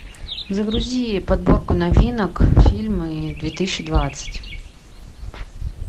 загрузи подборку новинок фильмы две тысячи двадцать